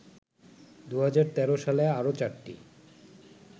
২০১৩ সালে আরো চারটি